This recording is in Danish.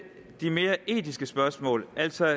de mere etiske spørgsmål altså